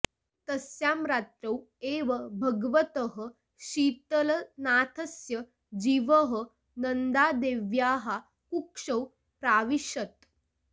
तस्यां रात्रौ एव भगवतः शीतलनाथस्य जीवः नन्दादेव्याः कुक्षौ प्राविशत्